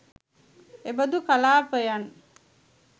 එබඳු කලාපයන්